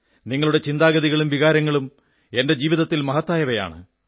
നിങ്ങളുടെ ചിന്താഗതികളും വികാരങ്ങളും എന്റെ ജീവിതത്തിൽ മഹത്തായവയാണ്